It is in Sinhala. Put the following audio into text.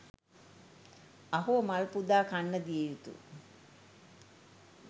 අහෝ මල් පුදා කන්න දිය යුතු